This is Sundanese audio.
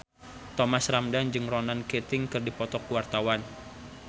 Thomas Ramdhan jeung Ronan Keating keur dipoto ku wartawan